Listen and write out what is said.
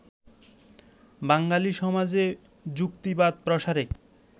বাঙালি সমাজে যুক্তিবাদ প্রসারে